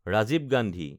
Rajiv Gandhi